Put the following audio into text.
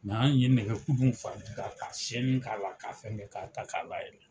Nka ali n'i ye nɛgɛkulu k'a sɛnin k'a la k'a fɛn k'a ta k'a la yɛlɛ.